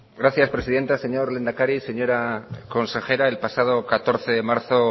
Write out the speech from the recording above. gracias presidenta señor lehendakari señora consejera el pasado catorce de marzo